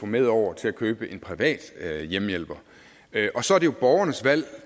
med over til at købe en privat hjemmehjælper og så er det jo borgernes valg